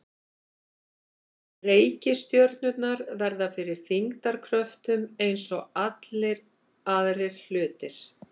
Reikistjörnurnar verða fyrir þyngdarkröftum eins og allir aðrir hlutir.